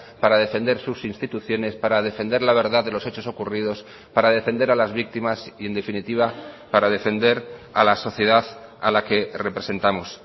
para defender sus instituciones para defender la verdad de los hechos ocurridos para defender a las víctimas y en definitiva para defender a la sociedad a la que representamos